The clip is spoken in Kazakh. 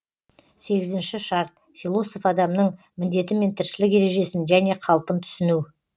сегізінші шарт философ адамның міндеті мен тіршілік ережесін және қалпын түсіну